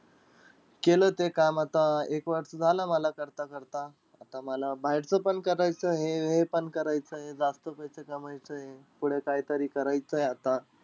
केलं ते काम आता अं एक वर्ष झालं मला करता-करता. आता मला बाहेरचं पण करायचंय आणि हे पण करायचंय. जास्त पैसे कमवायचेय. पुढे काहीतरी करायचंय आता.